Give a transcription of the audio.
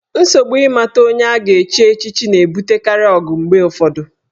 Nsogbu ịmata onye a ga-echi echichi na-ebutekarị ọgụ mgbe ụfọdụ.